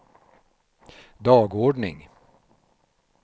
dagordning